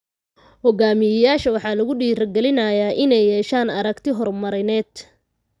Hogaamiyeyaasha waxaa lagu dhiirigelinayaa inay yeeshaan aragti horumarineed.